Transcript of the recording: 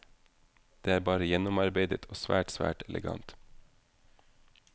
Det er bare gjennomarbeidet og svært, svært elegant.